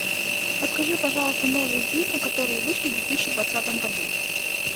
подскажи пожалуйста новые фильмы которые вышли в две тысячи двадцатом году